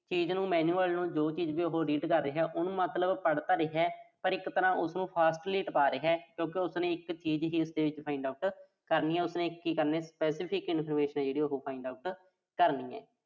ਚੀਜ਼ ਨੂੰ manual ਨੂੰ ਜੋ ਚੀਜ਼ ਵੀ ਉਹੋ find out ਕਰ ਰਿਹਾ। ਉਹਨੂੰ ਮਤਲਬ ਪੜ੍ਹ ਤਾਂ ਰਿਹਾ ਪਰ ਇੱਕ ਤਰ੍ਹਾਂ ਉਸਨੂੰ fastly ਟਪਾ ਰਿਹਾ। ਕਿਊਂ ਕਿ ਉਸਨੇ ਇੱਕ ਚੀਜ਼ ਹੀ ਉਸਦੇ ਵਿੱਚ find out ਕਰਨੀ ਆ। ਉਸਨੇ ਕੀ ਕਰਨਾ ਇੱਕ specific information ਆ ਜਿਹੜੀ, ਉਹੋ find out ਕਰਨੀ ਆ।